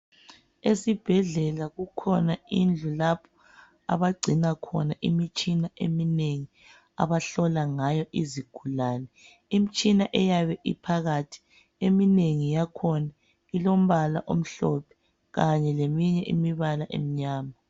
Esibhedlela kukhona indlu lapho abagcina khona imitshina eminengi abahlola ngayo izigulane. Imtshina eyabe iphakathi eminengi yakhona ilombala omhlophe Kanye leminye imibala emnyama.